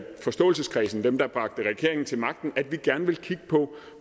forståelseskredsen dem der bragte regeringen til magten har at vi gerne vil kigge på